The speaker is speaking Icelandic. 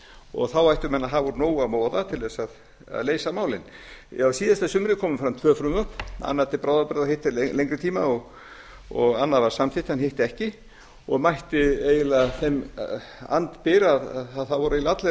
og þá ættu menn að hafa úr nógu að moða til að leysa málin á síðasta sumri komu fram tvö frumvörp annað til bráðabirgða og hitt til lengri tíma annað var samþykkt en hitt ekki og mætti eiginlega þeim andbyr að það voru eiginlega allir óánægðir